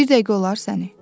Bir dəqiqə olar səni.